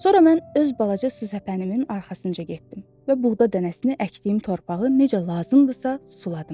Sonra mən öz balaca su səpənimin arxasınca getdim və buğda dənəsini əkdiyim torpağı necə lazımdısa suladım.